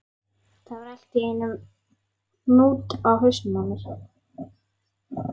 Það var allt í einum hnút í hausnum á mér.